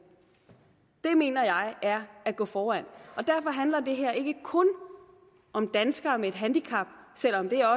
det mener jeg er at gå foran og derfor handler det her ikke kun om danskere med et handicap selv om det er